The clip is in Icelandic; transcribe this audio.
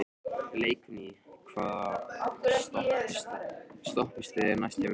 Leikný, hvaða stoppistöð er næst mér?